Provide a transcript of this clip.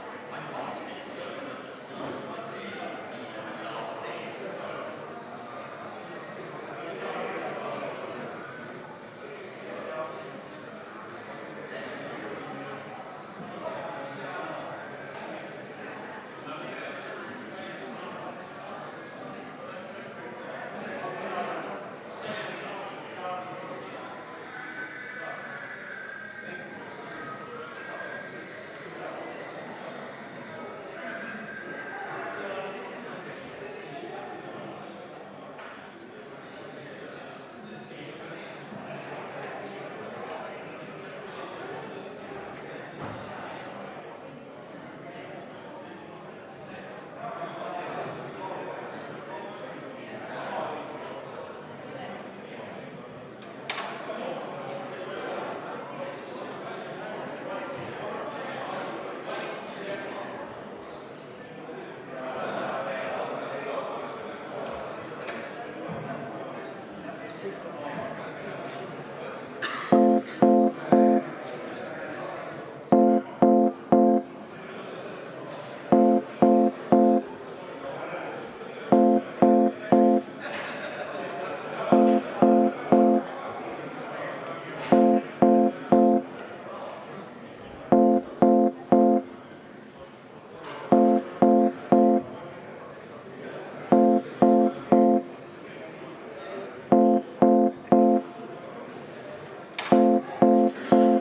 V a h e a e g